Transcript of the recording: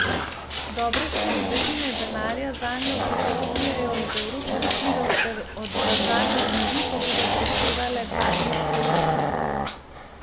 Dobre štiri petine denarja zanjo pričakujejo iz evropskih virov ter od države, razliko bodo prispevale partnerske občine.